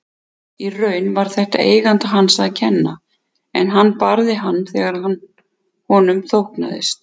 Í raun var þetta eiganda hans að kenna en hann barði hann þegar honum þóknaðist.